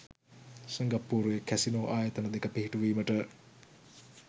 සිංගප්පූරුවේ කැසිනෝ ආයතන දෙක පිහිටුවීමට